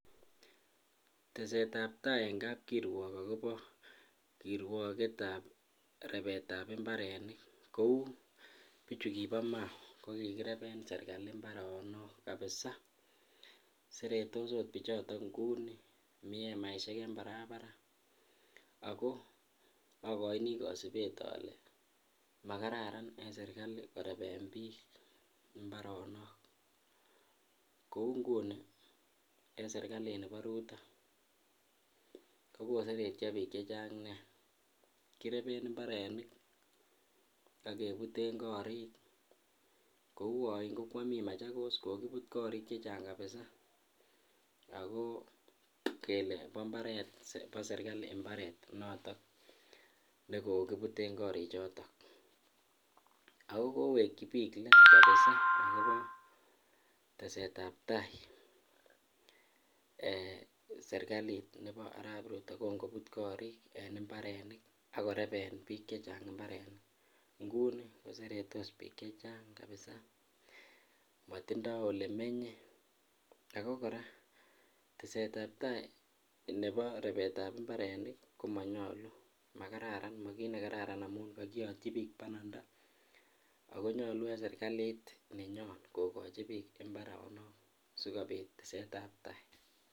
Tesetab taai en kapkirwok akobo kirwoketab rebetab imbarenik kouu bichu kibo mau ko kikireben charkal mbaronok kabisa, seretos bichoton akot inguni, mii emaishek en barabara ako okoini kosibet olee makararan en serikali koreben biik imbaronok kouu nguni en serikalini bo Rutto ko koseretio biik chechang nea, kireben mbaronik ak kebuten korik kouu oiin ko keomii Machakos kokibut korik chechang kabisa ak ko kelee bo mbaret bo serikali mbaret noton nekokibuten imbareni choton, ak ko kowekyi biik leet kabisa akobo testetab taai eeh serikalit nebo arab Rutto yekan kobut korik en imbarenik ak koreben biik chechang imbarenik nguni koseretos biik chechang kabisa, motindo olemenye ak ko kora tesetab taai nebo rebetab imbaronik komonyolu makararan, makiit nekararan amun kokiyotyi biik bananda ak konyolu en serikalit nenyon kokochi biik mbaronok sikobit tesetab taai.